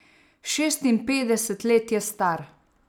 Šestinpetdeset let je star.